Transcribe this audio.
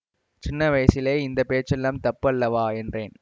சின்ன வயசிலே இந்த பேச்செல்லாம் தப்பு அல்லவா என்றேன்